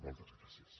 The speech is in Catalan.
moltes gràcies